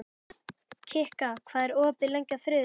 Kikka, hvað er opið lengi á þriðjudaginn?